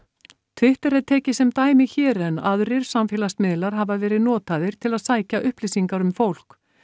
Twitter er tekið sem dæmi hér en aðrir samfélagsmiðlar hafa verið notaðir til að sækja upplýsingar um fólk